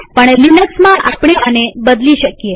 પણ લિનક્સમાંઆપણે આને બદલી શકીએ